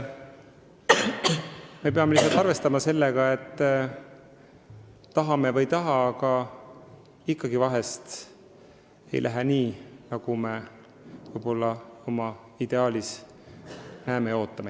Me peame lihtsalt arvestama sellega, tahame või ei taha, et ikkagi vahel ei lähe nii, nagu me ideaalis ootame.